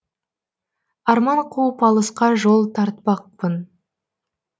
арман қуып алысқа жол тартпақпын